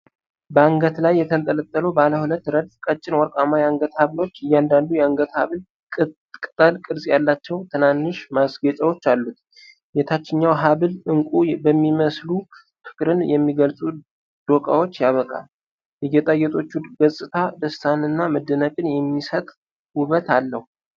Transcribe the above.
በአንገት ላይ የተንጠለጠሉ ባለ ሁለት ረድፍ ቀጭን ወርቃማ የአንገት ሐብሎች፣ እያንዳንዱ የአንገት ሐብል ቅጠል ቅርጽ ያላቸው ትናንሽ ማስጌጫዎች አሉት። የታችኛው ሐብል ዕንቁ በሚመስሉ ፍቅርን የሚገልጹ ዶቃዎች ያበቃል። የጌጣጌጦቹ ገጽታ ደስታንና መደነቅን የሚሰጥ ውበት አለው።